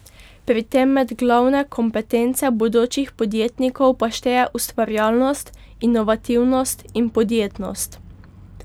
Pri tem med glavne kompetence bodočih podjetnikov pa šteje ustvarjalnost, inovativnost in podjetnost.